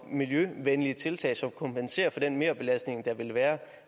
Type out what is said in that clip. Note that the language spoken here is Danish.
miljøvenlige tiltag som kompenserer for den merbelastning der vil være